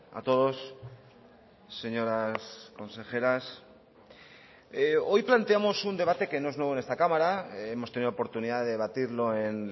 a todos señoras consejeras hoy planteamos un debate que no es nuevo en esta cámara hemos tenido oportunidad de debatirlo en